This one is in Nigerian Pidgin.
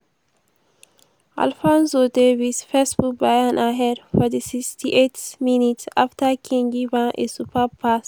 alphonso davies first put bayern ahead for di 68th minute afta kane give am a superb pass.